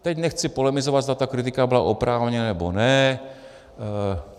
Teď nechci polemizovat, zda ta kritika byla oprávněná, nebo ne.